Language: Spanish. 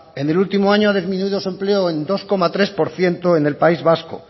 en el último año ha disminuido su empleo en dos coma tres por ciento en el país vasco